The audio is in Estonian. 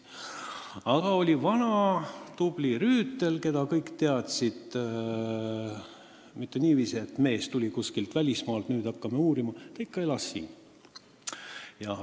Aga oli vana tubli Rüütel, keda kõik teadsid – mitte niiviisi, et mees tuli kuskilt välismaalt ja hakkame nüüd uurima –, kes ikka elas siin.